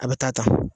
A bɛ taa ta